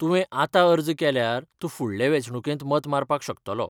तुवें आतां अर्ज केल्यार तूं फुडल्या वेंचणूकेंत मत मारपाक शकतलो.